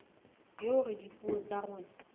le hore dipuo tsa rona